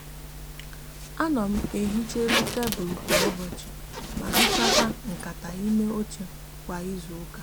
a no m ehicha elu tablu kwa ubochi ma hichakwa nkata ime oche kwa izuuka